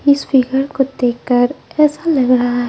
इस फिगर को देखकर ऐसा लगा रहा--